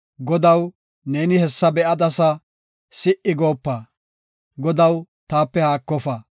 Godaw, neeni hessa be7adasa; si77i goopa. Godaw, taape haakofa.